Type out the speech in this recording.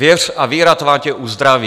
Věř a víra tvá tě uzdraví.